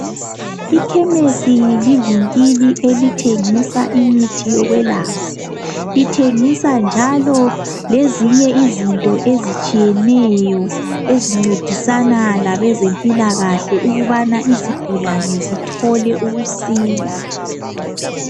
Ikhemesi livinkili elithengisa imithi yokwelapha. Ithengisa njalo lezinye izinto ezitshiyeneyo ezincedisana labezempilakahle ukuthi izigulane zithole ukusila.